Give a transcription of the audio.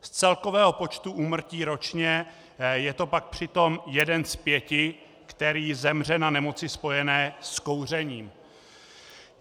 Z celkového počtu úmrtí ročně je to pak přitom jeden z pěti, který zemře na nemoci spojené s kouřením.